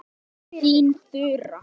Þín Þura.